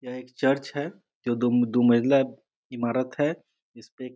यह एक चर्च है जो दो-दो मंजिला इमारत है इस पे --